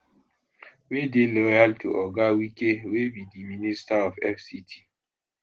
wey dey loyal to oga wike wey be di minister of fct